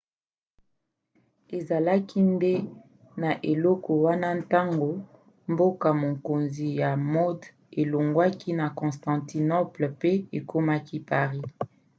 ezalaki nde na eleko wana ntango mboka-mokonzi ya mode elongwaki na constantinople pe ekomaki paris